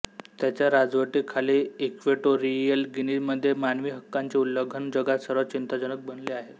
त्याच्या राजवटीखाली इक्वेटोरीयल गिनीमध्ये मानवी हक्कांचे उल्लंघन जगात सर्वात चिंताजनक बनले आहे